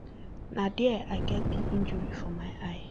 um na dia i get di injury for my eye